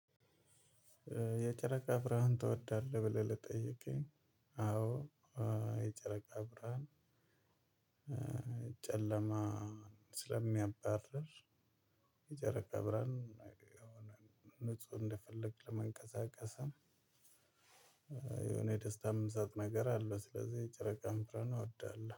የጨረቃ ብርሃን ትወዳለህ? ብለህ ለጠየቀኝ አዎ። የጨረቃ ብርሃን ጨለማ ስለሚያባርር የጨረቃ ብርሃን ንጹህ እንደፈለክ ለመንቀሳቀስም የሆነ የደስታ የሚሰጥ ነገር አለው። ስለዚህ ጨረቃ ብርሃን እወዳለሁ